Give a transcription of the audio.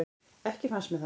Ekki fannst mér það.